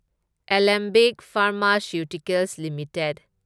Alembic pharmaceuticals limited